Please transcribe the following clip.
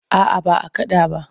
A'a ba a kaɗa ba.